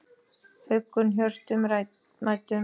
huggun hjörtum mæddum